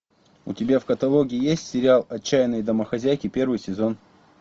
у тебя в каталоге есть сериал отчаянные домохозяйки первый сезон